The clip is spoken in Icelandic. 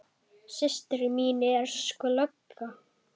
Systir mín er sko lögga